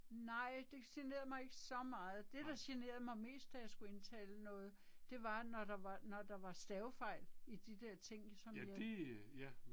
Nej det generede mig ikke så meget, det der generede mig mest da jeg skulle indtale noget, det var når der var når der var stavefejl i de der ting som jeg